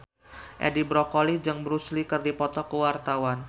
Edi Brokoli jeung Bruce Lee keur dipoto ku wartawan